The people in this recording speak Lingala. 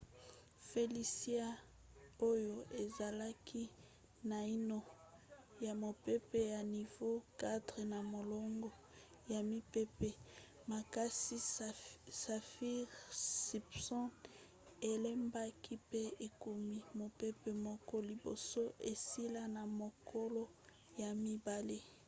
felicia oyo ezalaki naino mopepe ya nivo 4 na molongo ya mipepe makasi saffir-simpson elembaki pe ekomi mopepe moke liboso esila na mokolo ya mibale